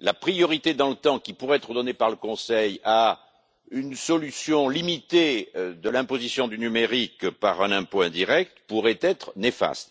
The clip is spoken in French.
la priorité dans le temps, qui pourrait être donnée par le Conseil à une solution limitée de l'imposition du numérique par un impôt indirect, pourrait être néfaste.